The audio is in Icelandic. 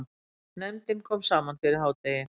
Nefndin kom saman fyrir hádegi.